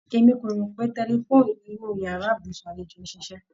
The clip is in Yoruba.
E mí ko rò pé tẹlifóònù inu yàrá ibùsùn àlejò n ṣíṣe